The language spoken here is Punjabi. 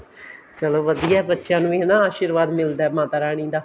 ਚਲੋ ਵਧੀਆ ਬੱਚਿਆਂ ਨੂੰ ਹੀ ਹਨਾ ਆਸ਼ੀਰਵਾਦ ਮਿਲਦਾ ਮਾਤਾ ਰਾਣੀ ਦਾ